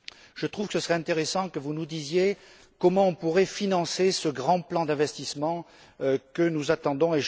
Je trouve qu'il serait intéressant que vous nous disiez comment nous pourrions financer ce grand plan d'investissement que nous attendons.